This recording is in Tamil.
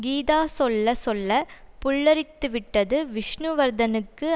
கீதா சொல்ல சொல்ல புல்லரித்துவிட்டது விஷ்ணுவர்த்தனுக்கு